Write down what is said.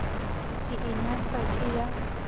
ke e nyatsang ke ya